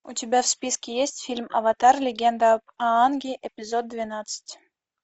у тебя в списке есть фильм аватар легенда об аанге эпизод двенадцать